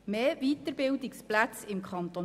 Mehr Weiterbildungsplätze im Kanton